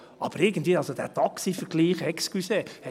Aber irgendwie, dieser Taxi-Vergleich, ich bitte Sie!